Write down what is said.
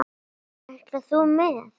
Ætlar þú með?